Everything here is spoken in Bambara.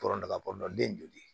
Tɔnɔ daba kɔnɔna den joli